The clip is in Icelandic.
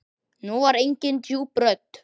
Nú var engin djúp rödd.